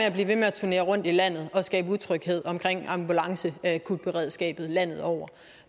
at blive ved med at turnere rundt i landet og skabe utryghed omkring ambulanceakutberedskabet landet over